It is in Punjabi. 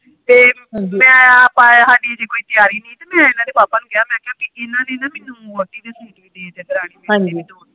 ਤੇ ਮੈਂ ਆਪ ਹਾਡੀ ਅਜੇ ਕੋਈ ਤਿਆਰੀ ਨਹੀਂ ਹੀ ਤੇ ਮੈ ਇਹਨਾਂ ਦੇ ਪਾਪਾ ਨੂੰ ਕਿਆ ਪੀ ਇਹਨਾਂ ਨੇ ਨਾ ਮੈਨੂੰ ਵੋਟੀ ਦੇ ਸੂਟ ਦੇਤੇ ਦਰਾਣੀ ਦੇ